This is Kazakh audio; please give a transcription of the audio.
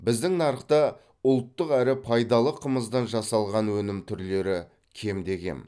біздің нарықта ұлттық әрі пайдалы қымыздан жасалған өнім түрлері кемде кем